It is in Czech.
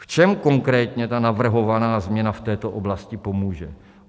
V čem konkrétně ta navrhovaná změna v této oblasti pomůže?